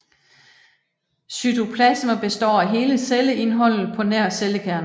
Cytoplasma består af hele celleindholdet på nær cellekernen